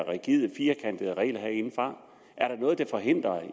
rigide firkantede regler herindefra er der noget der forhindrer